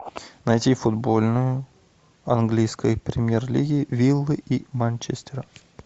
найти футбольную английской премьер лиги виллы и манчестера